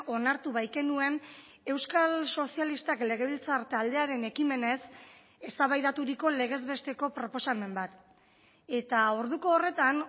onartu baikenuen euskal sozialistak legebiltzar taldearen ekimenez eztabaidaturiko legez besteko proposamen bat eta orduko horretan